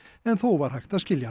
en þó var hægt að skilja